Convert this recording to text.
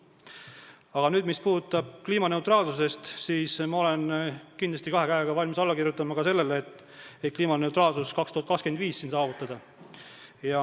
Aga mis puudutab kliimaneutraalsust, siis ma olen kindlasti kahe käega valmis alla kirjutama ka sellele, et saavutada kliimaneutraalsus aastaks 2025.